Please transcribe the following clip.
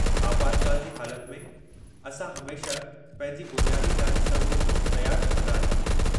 आपातकाल जी हालति में, असां हमेशह पंहिंजी बुनियादी इलाजी सहूलियतूं तयारु रखंदा आहियूं।